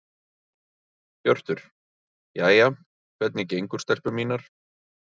Hjörtur: Jæja, hvernig gengur stelpur mínar?